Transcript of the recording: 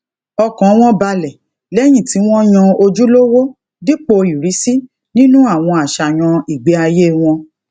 ọkàn wọn balẹ lẹyìn tí wọn yan ojúlówó dípò ìrísí nínú àwọn àṣàyàn ìgbéayé wọn